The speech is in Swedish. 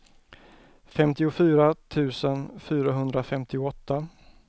femtiofyra tusen fyrahundrafemtioåtta